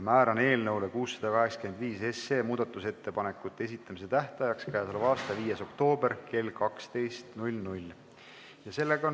Määran eelnõu 685 muudatusettepanekute esitamise tähtajaks k.a 5. oktoobri kell 12.